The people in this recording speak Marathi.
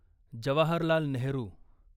जवाहरलाल नेहरू